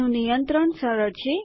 તેનું નિયંત્રણ સરળ છે